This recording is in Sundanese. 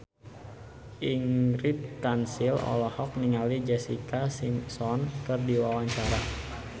Ingrid Kansil olohok ningali Jessica Simpson keur diwawancara